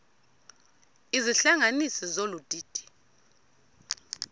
izihlanganisi zolu didi